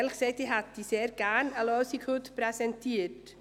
Ehrlich gesagt hätte ich Ihnen heute gerne eine Lösung präsentiert.